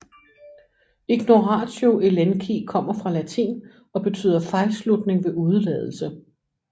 Ignoratio elenchi kommer fra latin og betyder fejlslutning ved udeladelse